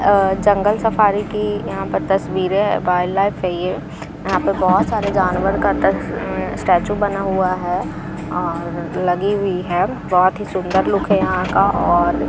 अह जंगल सफारी की यहां पर तस्वीरें वाइल्डलाइफ है ये यहां पे बहोत सारे जानवर का तस स्टेच्यू बना हुआ है और लगी हुई है बहोत ही सुंदर लुक है यहां का और --